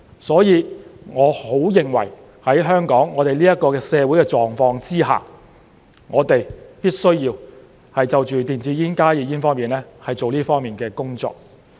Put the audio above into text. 所以，我很認為在香港社會的狀況之下，我們必須就電子煙、加熱煙做這方面的工作。